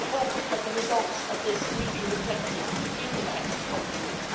We hope that the results of this will be reflected in the text of the law.